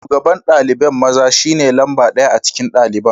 Shugaban dalibain maza shine lamba daya a cikin dalibain.